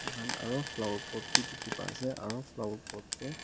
Mokhan aro flower pot bhi dekhe pai ase aro flower pot dae--